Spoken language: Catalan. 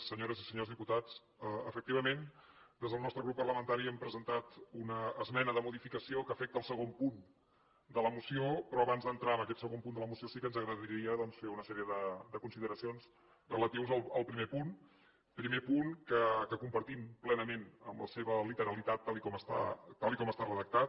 senyores i senyors diputats efectivament des del nostre grup parlamentari hem presentat una esmena de modificació que afecta el segon punt de la moció però abans d’entrar en aquest segon punt de la moció sí que ens agradaria doncs fer una sèrie de consideracions relatives al primer punt primer punt que compartim plenament en la seva literalitat tal com està redactat